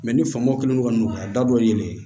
ni faamaw kelen kɔni don a da dɔ ye nin ye